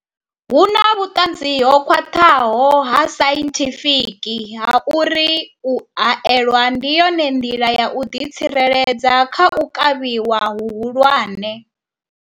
Hu na vhuṱanzi ho khwaṱhaho ha sainthifiki ha uri u haelwa ndi yone nḓila ya u ḓitsireledza kha u kavhiwa hu hulwane.